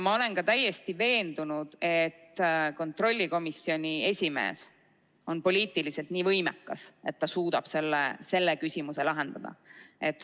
Ma olen ka täiesti veendunud, et kontrollikomisjoni esimees on poliitiliselt nii võimekas, et ta suudab selle küsimuse lahendada.